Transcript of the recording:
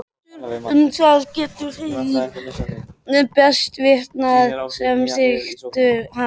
Um það geta þeir best vitnað sem þekktu hann.